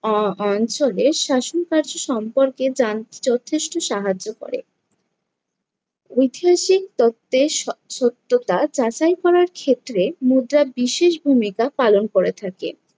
আহ অ~ অঞ্চলের শাসনকার্য সম্পর্কে জানতে যথেষ্ট সাহায্য করে। ঐতিহাসিক তত্ত্বের স~ সত্যতা যাচাই করার ক্ষেত্রে মুদ্রা বিশেষ ভূমিকা পালন করে থাকে।